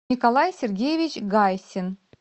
николай сергеевич гайсин